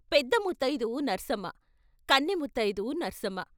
పెద్ద ముత్తయిదువు నర్సమ్మ, కన్నె ముత్తయిదువు నర్సమ్మ .